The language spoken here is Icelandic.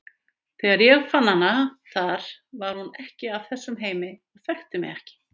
Þegar ég fann hana þar var hún ekki af þessum heimi og þekkti mig ekki.